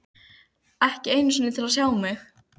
Ekki einu sinni til að sjá mig.